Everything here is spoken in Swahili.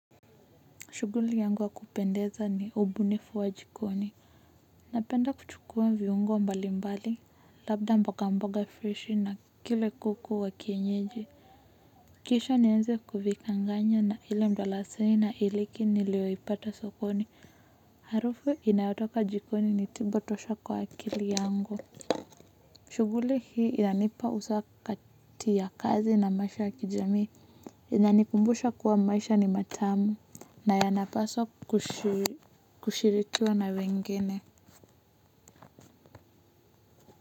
Shudhuli yangu ya kupendeza ni ubunifu wa jikoni napenda kuchukuwa viungo mbali mbali labda mboga mboga fish na kile kuku wa kienyeji kisha nienze kuvichanganya na ile mdalasini na iliki niliyoipata sokoni harufu inayotoka jikoni ni tiba tosha kwa akili yangu shughuli hii yanipa usawa kati ya kazi na maisha ya kijamii inanikumbusha kuwa maisha ni matamu na ya napasa kushirikiwa na wengine.